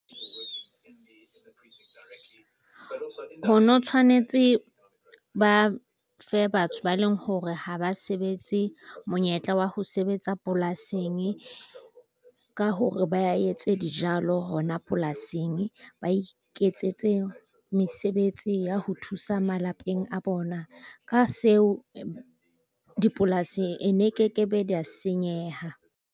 Utlwisisa ho no tshwanetse ba fe batho ba leng hore ha ba sebetse monyetla wa ho sebetsa polasing ka hore ba etse dijalo hona polasing. Ba iketsetse mesebetsi ya ho thusa malapeng a bona. Ka seo dipolasi e ne kekebe di a senyeha.